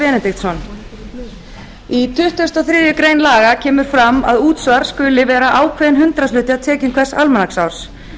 benediktsson í tuttugasta og þriðju grein laga kemur fram að útsvar skuli vera ákveðinn hundraðshluti af tekjum hvers almanaksárs